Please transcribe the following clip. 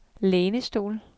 lænestol